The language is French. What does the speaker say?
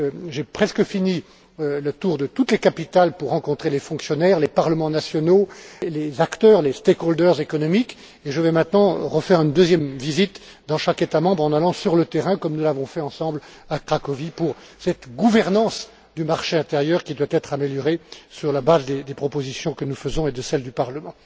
J'ai presque fini le tour de toutes les capitales pour rencontrer les fonctionnaires, les parlements nationaux, les acteurs économiques, et je vais maintenant refaire une deuxième visite dans chaque État membre en allant sur le terrain, comme nous l'avons fait ensemble à Cracovie pour cette gouvernance du marché intérieur, qui doit être améliorée sur la base de nos propositions et de celles du Parlement.